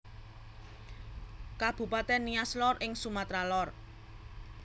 Kabupatèn Nias Lor ing Sumatra Lor